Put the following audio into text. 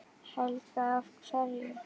Helga: Af hverju?